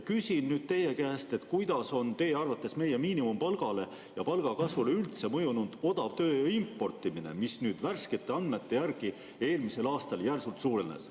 Küsin teie käest, kuidas on teie arvates meie miinimumpalgale ja palgakasvule üldse mõjunud odavtööjõu importimine, mis nüüd värskete andmete järgi eelmisel aastal järsult suurenes.